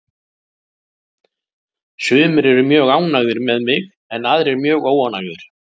Sumir eru mjög ánægðir með mig en aðrir mjög óánægðir.